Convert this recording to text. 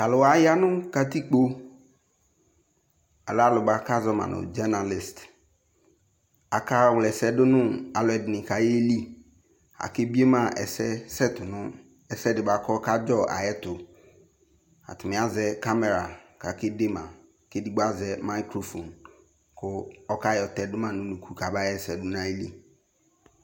To aluwa ya no katikpo, Alɛ alu noako azɔma no dzenalis Akaa wlɛsɛ do no aluɛde ne ko aye li Aka bie ma asɛ sɛto no ɛsɛ de boako ɔkadzɔ ayeto Atane azɛ kamɛra ko akede ma, ko edigbo azɛ mayikrofon ko ɔka yɔ tɛdo ma no unuku ko aba yɛsɛ do no ayili